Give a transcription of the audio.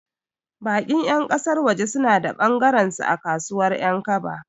Baƙin ƴan ƙasar waje suna da ɓangarensu a kasuwar Ƴankaba.